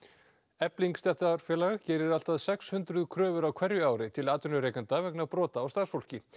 efling stéttarfélag gerir allt að sex hundruð kröfur á hverju ári til atvinnurekenda vegna brota á starfsfólki